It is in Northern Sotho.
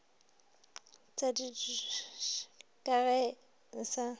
tšaditšhiololo ka ge a sa